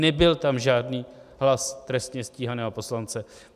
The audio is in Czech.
Nebyl tam žádný hlas trestně stíhaného poslance.